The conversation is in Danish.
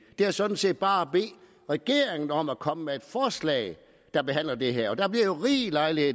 er sådan set bare at bede regeringen om at komme med et forslag der behandler det her og der bliver rig lejlighed